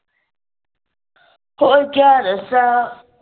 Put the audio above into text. ਹੋਰ ਕਿਆ ਦੱਸਾਂ